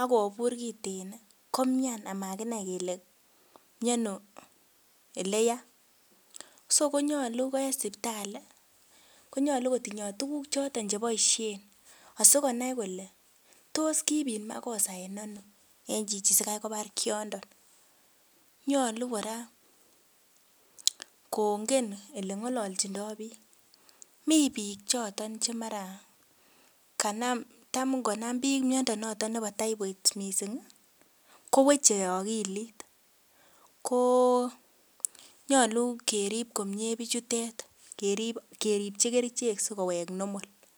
akobur kiten ih komian amakinai kele miono eleyaa so konyolu en sipitali konyolu kotindoo tuguk choton cheboisien asikonai kole tos kibit makosa en ano en chichi sikai kobar kiondon nyolu kora kongen eleng'ololchindoo biik mii biik choton che mara kanam tam ngonam biik miondo noton nebo typhoid missing ih koweche akilit ko nyolu kerip komie bichutet kerip keripchi kerichek sikowek normal